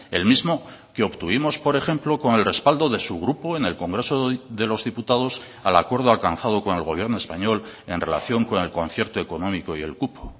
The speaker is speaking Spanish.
el mismo que obtuvimos por ejemplo con el respaldo de su grupo en el congreso de los diputados al acuerdo alcanzado con el gobierno español en relación con el concierto económico y el cupo